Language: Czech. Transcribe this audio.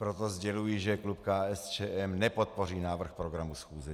Proto sděluji, že klub KSČM nepodpoří návrh programu schůze.